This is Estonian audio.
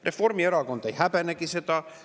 Reformierakond ei häbenegi seda.